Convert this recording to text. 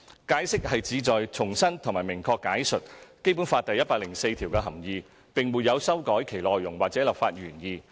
《解釋》旨在重申及明確解述《基本法》第一百零四條的含意，並沒有修改其內容或立法原意。